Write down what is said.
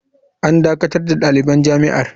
“An dakatar da daliban jami’ar.